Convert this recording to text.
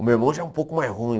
O meu irmão já é um pouco mais ruim.